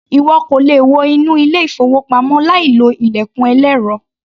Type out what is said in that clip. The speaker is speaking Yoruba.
Ìwọ kò le wọ inú ilé-ìfowópamọ́ láìlo ilẹ̀kùn ẹlẹ́rọ.